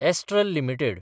astral limited